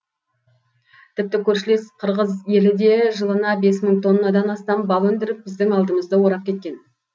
тіпті көршілес қырғыз елі де жылына бес мың тоннадан астам бал өндіріп біздің алдымызды орап кеткен